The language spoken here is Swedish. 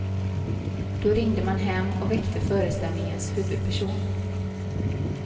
Då ringde man hem och väckte föreställningens huvudperson.